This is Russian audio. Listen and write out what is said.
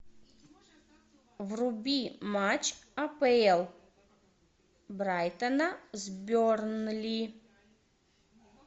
вруби матч апл брайтона с бернли